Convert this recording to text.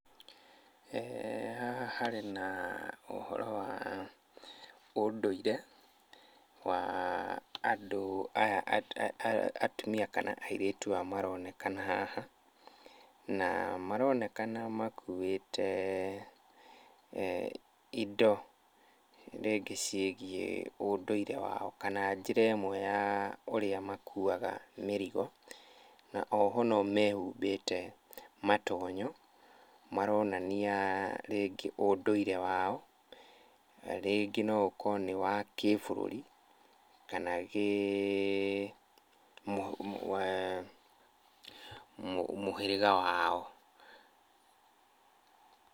Haha harĩ na ũhoro wa ũndũire wa andũ aya atumia kana airĩtu aya maronekana haha, na maronekana makuĩte indo rĩngĩ ciĩgiĩ ũndũire wao kana njĩra ĩmwe ya ũrĩa makuaga mĩrigo. Na oho no mehumbĩte matonyo maronania rĩngĩ ũndũire wao. Rĩngĩ no ũkorwo nĩ wa kĩbũrũri kana kĩmũhĩrĩga wao.